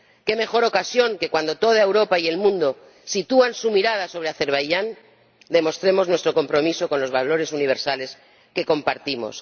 ¡Qué mejor ocasión que, cuando toda Europa y el mundo sitúan su mirada sobre Azerbaiyán, demostremos nuestro compromiso con los valores universales que compartimos!